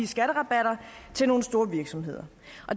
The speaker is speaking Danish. skatterabatter til nogle store virksomheder